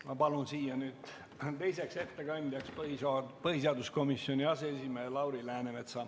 Ma palun teiseks ettekandjaks põhiseaduskomisjoni aseesimehe Lauri Läänemetsa.